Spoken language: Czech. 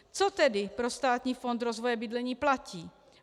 - Co tedy pro Státní fond rozvoje bydlení platí?